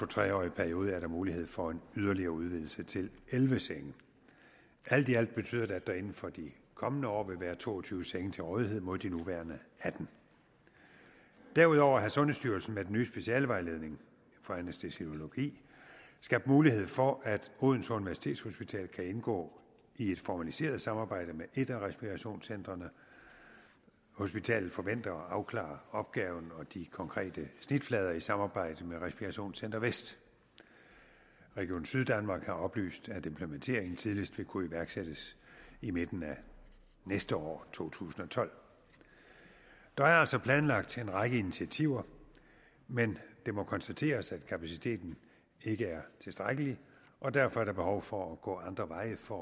tre årig periode er der mulighed for en yderligere udvidelse til elleve senge alt i alt betyder det at der inden for de kommende år vil være to og tyve senge til rådighed mod de nuværende attende derudover har sundhedsstyrelsen med den nye specialevejledning for anæstesiologi skabt mulighed for at odense universitetshospital kan indgå i et formaliseret samarbejde med et af respirationscentrene hospitalet forventer at afklare opgaven og de konkrete snitflader i samarbejdet med respirationscenter vest region syddanmark har oplyst at implementeringen tidligst vil kunne iværksættes i midten af næste år to tusind og tolv der er altså planlagt en række initiativer men det må konstateres at kapaciteten ikke er tilstrækkelig og derfor er der behov for at gå andre veje for